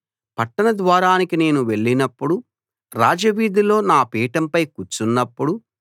పట్టణ ద్వారానికి నేను వెళ్లినప్పుడు రాజవీధిలో నా పీఠంపై కూర్చున్నప్పుడు